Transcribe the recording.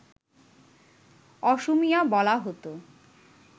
অসমীয়া বলা হত